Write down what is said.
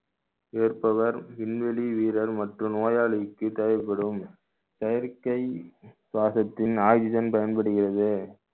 ஏற்பவர் விண்வெளி வீரர் மற்றும் நோயாளிக்கு தேவைப்படும் செயற்கை சுவாசத்தின் oxygen பயன்படுகிறது